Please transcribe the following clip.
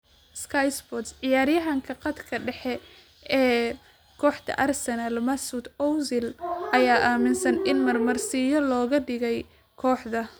(Sky Sports) Ciyaaryahanka khadka dhexe ee kooxda Arsenal Mesut Ozil ayaa aaminsan in marmarsiyo looga dhigay kooxda.